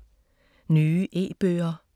Nye e-bøger